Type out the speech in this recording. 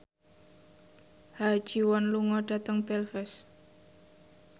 Ha Ji Won lunga dhateng Belfast